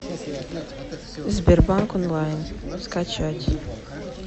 сбербанк онлайн скачать